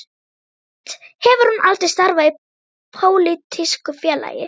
Samt hefur hún aldrei starfað í pólitísku félagi.